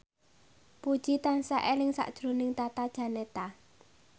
Puji tansah eling sakjroning Tata Janeta